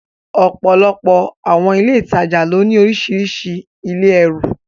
Ọ̀pọ̀lọpọ̀ àwọn ilé ìtajà ló ní orísìírísìí ilé ẹrù.